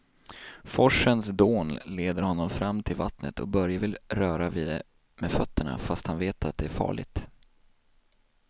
Forsens dån leder honom fram till vattnet och Börje vill röra vid det med fötterna, fast han vet att det är farligt.